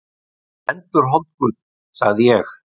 Hún er endurholdguð, sagði ég.